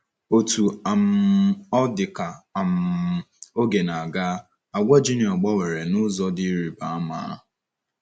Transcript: Otú um ọ dị, ka um oge na - aga, àgwà Junior gbanwere n’ụzọ dị ịrịba ama.